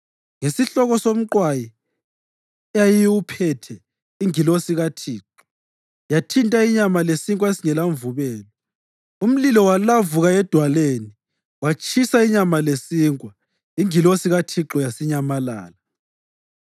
Ngesihloko somqwayi eyayiwuphethe ingilosi kaThixo yathinta inyama lesinkwa esingelamvubelo. Umlilo walavuka edwaleni watshisa inyama lesinkwa. Ingilosi kaThixo yasinyamalala.